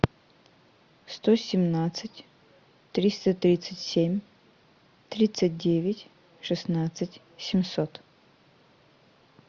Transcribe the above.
сто семнадцать триста тридцать семь тридцать девять шестнадцать семьсот